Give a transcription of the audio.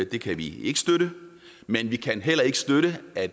det kan vi ikke støtte men vi kan heller ikke støtte at